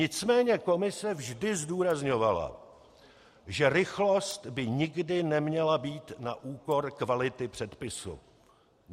Nicméně Komise vždy zdůrazňovala, že rychlost by nikdy neměla být na úkor kvality předpisu.